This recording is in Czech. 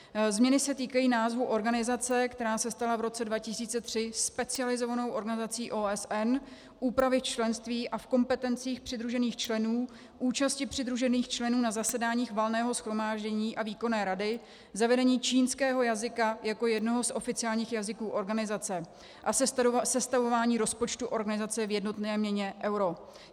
Změny se týkají názvu organizace, která se stala v roce 2003 specializovanou organizací OSN, úpravy členství a v kompetencích přidružených členů účasti přidružených členů na zasedáních Valného shromáždění a Výkonné rady, zavedení čínského jazyka jako jednoho z oficiálních jazyků organizace a sestavování rozpočtu organizace v jednotné měně euro.